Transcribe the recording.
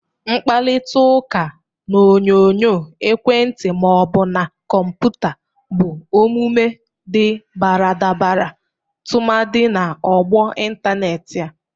Mkparitaụka n'onyonyo ekwentị ma ọ bụ na kọmpụta bụ omume dị baradabara tụmadị na ọgbọ ịntanetị a.